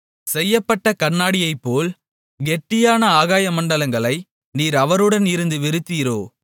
செய்யப்பட்ட கண்ணாடியைப்போல் கெட்டியான ஆகாயமண்டலங்களை நீர் அவருடன் இருந்து விரித்தீரோ